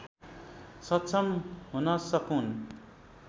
सक्षम हुन सकून्